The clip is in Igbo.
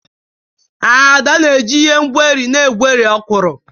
Ada na-eji ihe ngweri na egweri okwuru.